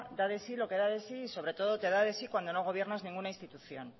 da de sí lo que da de sí y sobre todo te da de sí cuando no gobiernas ningunas institución